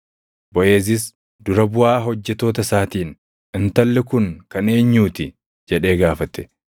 Boʼeezis dura buʼaa hojjettoota isaatiin, “Intalli kun kan eenyuu ti?” jedhee gaafate.